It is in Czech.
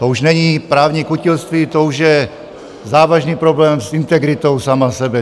To už není právní kutilství, to už je závažný problém s integritou sám sebe.